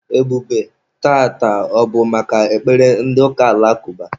Ebube, taata, ọ bụ maka ekpere ndị ụka alakụba?